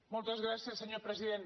moltes gràcies senyor president